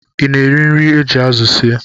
Ị na-eri nri e ji azụ sie